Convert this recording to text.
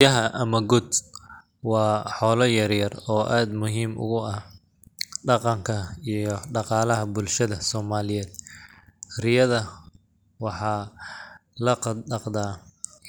Riyaha ama goat wa h ola yaryyar oo aad muxiim ogu ah daganka iyo dagalaha bulshada somaliyed, riyaha waxa lagadagda